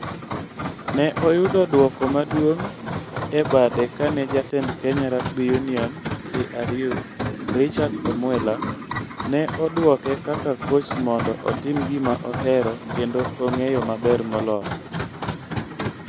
Ne oyudo duoko maduong' e bade kane Jatend Kenya Rugby Union (KRU) Richard Omwela ne odwoke kaka koch mondo otim gima ohero kendo ong'eyo maber moloyo.